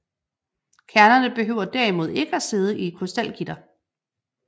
Kernerne behøver derimod ikke at sidde i et krystalgitter